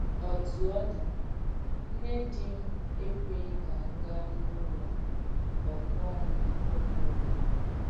Ọtú ọ́ dì, nnè dì m̀ èkwèghì kà m̀ gaà n’ùlọ̀ ọ́gùọ̀m ùmù ògbènyè.